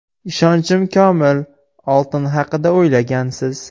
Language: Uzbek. Ishonchim komil, oltin haqida o‘ylagansiz.